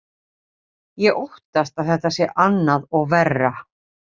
Ég óttast að þetta sé annað og verra.